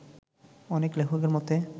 অনেক লেখকের মতে